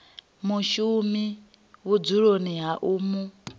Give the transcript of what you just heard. mushumi vhudzuloni ha u mu